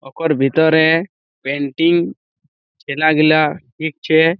ওকর ভিতরেএ পেন্টিং ছেলাগুলা দেখছে।